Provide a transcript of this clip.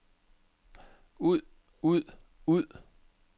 ud ud ud